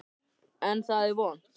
En, það er von!